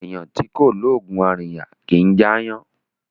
Eeyan ti ko loogun arinya kì í jẹ aayan